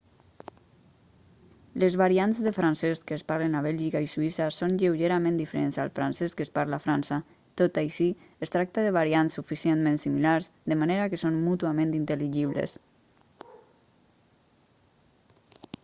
les variants de francès que es parlen a bèlgica i suïssa són lleugerament diferents al francès que es parla a frança tot i així es tracta de variants suficientment similars de manera que són mútuament intel·ligibles